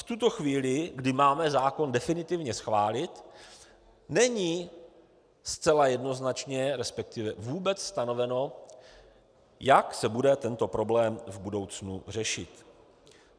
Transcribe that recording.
V tuto chvíli, kdy máme zákon definitivně schválit, není zcela jednoznačně, respektive vůbec stanoveno, jak se bude tento problém v budoucnu řešit.